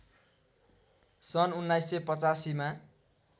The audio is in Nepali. सन् १९८५ मा